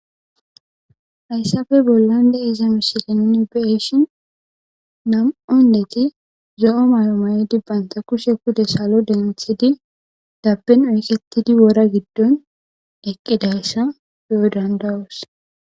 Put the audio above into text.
hayssappe bollan de'iza misilen nu be'ishin nam"u indettika zo'o mayo mayidi baytta kushe kude salo denthidi dabbin uyqettidi wora giddon eqqidayssa be'o danda'os.